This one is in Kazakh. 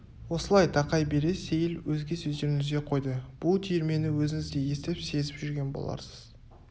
осылай тақай бере сейіл өзге сөздерін үзе қойды бу диірмені өзіңіз де естіп сезіп жүрген боларсыз